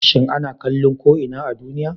shin ana kallo ko ina a duniya?